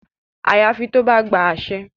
Àyàfi tó bá gba àṣẹ.